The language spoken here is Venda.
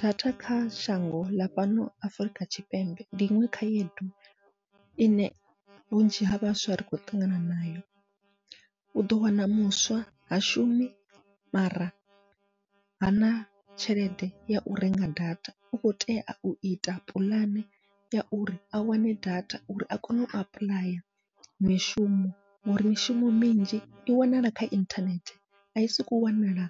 Data kha shango ḽa fhano Afrika Tshipembe ndi iṅwe khaedu ine vhunzhi ha vhaswa ri khou ṱangana nayo, uḓo wana muswa ha shumi mara hana tshelede yau renga data u kho tea uita puḽane ya uri a wane data uri a kone u apuḽaya mishumo, ngauri mishumo minzhi i wanala kha inthanethe ai sokou wanala